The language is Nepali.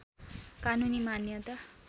कानूनी मान्यता